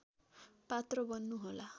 पात्र बन्नु होला